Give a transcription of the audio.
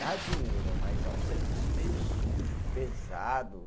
Dá dinheiro, mas é um serviço meio sujo, pesado.